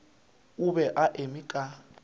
o be a eme ka